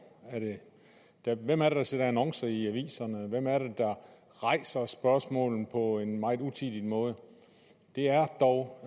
hvem er det der sætter annoncer i aviserne hvem er det der rejser spørgsmålene på en meget utidig måde det er dog